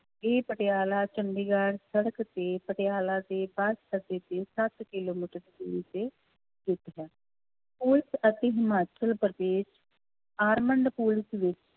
ਇਹ ਪਟਿਆਲਾ ਚੰਡੀਗੜ੍ਹ ਸੜਕ ਤੇ ਪਟਿਆਲਾ ਦੇ ਸੱਤ ਕਿੱਲੋਮੀਟਰ ਦੂਰ ਤੇ ਸਥਿੱਤ ਹੈ, ਪੁਲਿਸ ਅਤੇ ਹਿਮਾਚਲ ਪ੍ਰਦੇਸ਼ armed ਪੁਲਿਸ ਵਿੱਚ